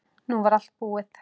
Nú var allt búið.